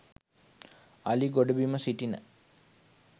අලි ගොඩබිම සිටින